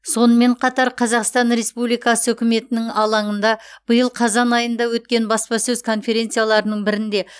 сонымен қатар қазақстан республикасы үкіметінің алаңында биыл қазан айында өткен баспасөз конференцияларының бірінде